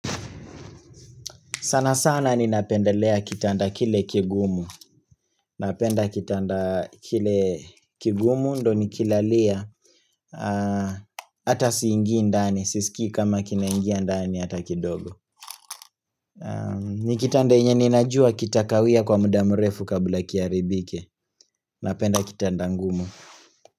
Sana sana ni napendelea kitanda kile kigumu Napenda kitanda kile kigumu ndo nikilalia Ata siingi ndani, sisiki kama kinaingia ndani hata kidogo ni kitanda yenye ninajua kitakawia kwa muda mrefu kabla kiharibike Napenda kitanda ngumu.